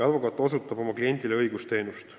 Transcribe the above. Advokaat osutab oma kliendile õigusteenust.